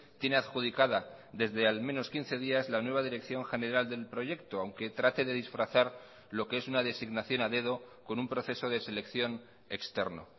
tiene adjudicada desde al menos quince días la nueva dirección general del proyecto aunque trate de disfrazar lo que es una designación a dedo con un proceso de selección externo